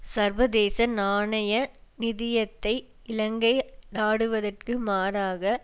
சர்வதேச நாணய நிதியத்தை இலங்கை நாடுவதற்கு மாறாக